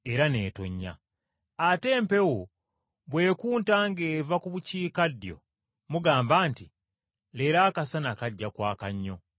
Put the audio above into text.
Ate empewo bw’ekunta ng’eva ku bukiikaddyo, mugamba nti, ‘Leero akasana kajja kwaka nnyo,’ era bwe kiba.